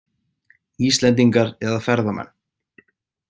Íslendingar eða ferðamenn?